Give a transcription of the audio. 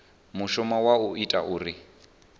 mushumo wa u ita uri